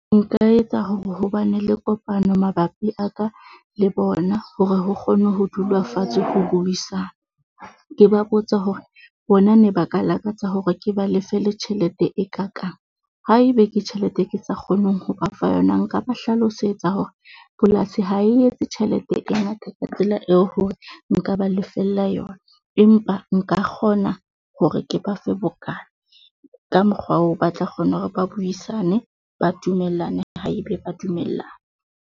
Nka etsa hore ho ba ne le kopano mabapi a ka le bona hore ho kgone ho dula fatshe ho buisana. Ke ba botse hore bona ne ba ka lakatsa hore ke ba lefe le tjhelete e kakang, haebe ke tjhelete ke sa kgoneng ho ba fa yona. Nka ba hlalosetsa hore polasi ha e etse tjhelete e ngata ka tsela eo hore nka ba lefella yona, empa nka kgona hore ke ba fe bokana. ka mokgwa o ba tla kgona hore ba buisane ba dumellane ha e be ba dumellana.